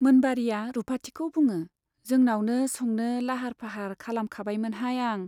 मोनबारीया रुपाथिखौ बुङो , जोंनावनो संनो लाहार फाहार खालाम खाबायमोनहाय आं।